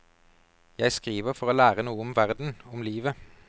Jeg skriver for å lære noe om verden, om livet.